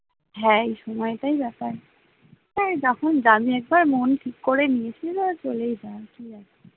হ্যাঁ এই সময়টাই যাতায়াতে, হ্যাঁ যখন যাবি একবার মন ঠিক করে নিয়েছিস যখন চলেই যা আর কি আছে?